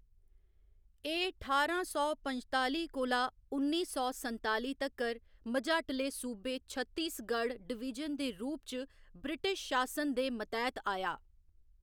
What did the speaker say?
एह्‌‌ ठारां सौ पंजताली कोला उन्नी सौ संताली तक्कर मझाटले सूबे छत्तीसगढ़ डिवीजन दे रूप च ब्रिटिश शासन दे मतैह्‌‌‌त आया।